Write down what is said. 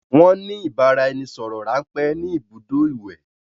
Won ni ìbáraẹnisọọ̀rọ̀ ránpẹ́ ni ibùdó ìwẹ̀.